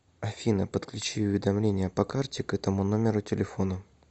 афина подключи уведомления по карте к этому номеру телефона